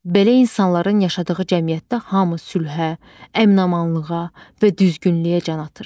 Belə insanların yaşadığı cəmiyyətdə hamı sülhə, əmin-amanlığa və düzgünlüyə can atır.